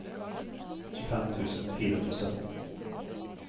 tjuefem tusen fire hundre og sytten